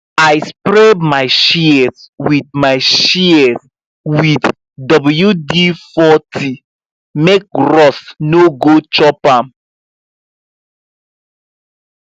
i spray my shears with my shears with wd40 make rust no go chop am